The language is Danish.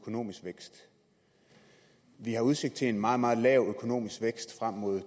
økonomisk vækst vi har udsigt til en meget meget lav økonomisk vækst frem mod